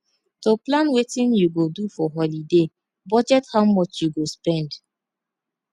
to plan wetin you go do for holiday budget how much you go spend